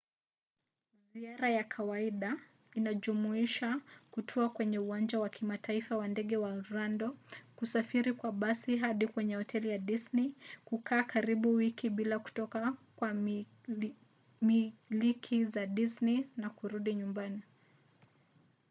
ziara ya kawaida inajumuisha kutua kwenye uwanja wa kimataifa wa ndege wa orlando kusafiri kwa basi hadi kwenye hoteli ya disney kukaa karibu wiki bila kutoka kwa miliki za disney na kurudi nyumbani